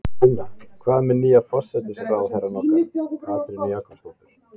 Sunna: Hvað með nýja forsætisráðherrann okkar, Katrínu Jakobsdóttur?